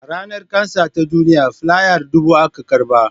A Ranar kansa ta duniya filayar dubu aka raba